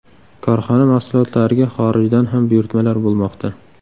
Korxona mahsulotlariga xorijdan ham buyurtmalar bo‘lmoqda.